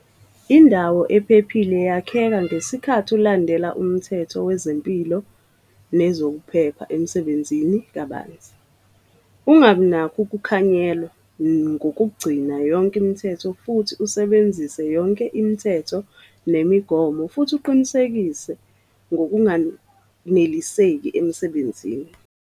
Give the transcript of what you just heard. Indawo ephephile yakheka ngesikhathi ulandela uMthetho weZempilo nezokuPhepha eMsebenzini kabanzi. Ungabi nakho ukukhanyelwa ngokugcina yonke imithetho futhi usebenzise yonke imithetho nemigomo futhi uqinisekise ngokunganeliseki emsebenzini.